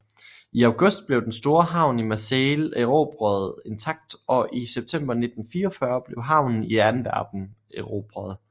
I august blev den store havn i Marseille erobret intakt og i september 1944 blev havnen i Antwerpen erobret